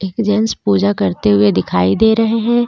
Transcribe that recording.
एक जेन्ट्स पूजा करते हुए दिखाई दे रहे हे.